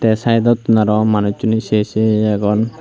tey saedottun aro manucchoney sei sei agon.